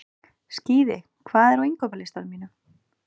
Skíði, hvað er á innkaupalistanum mínum?